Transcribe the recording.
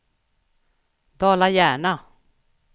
Dala-Järna